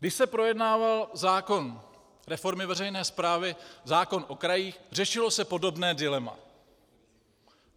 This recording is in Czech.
Když se projednával zákon reformy veřejné správy, zákon o krajích, řešilo se podobné dilema.